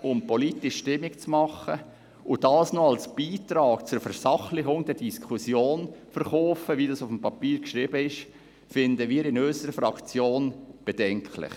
–, um politisch Stimmung zu machen, und dies erst noch als Beitrag zur Versachlichung der Diskussion verkaufen, wie das in dem Papier geschrieben ist, finden wir in unserer Fraktion bedenklich.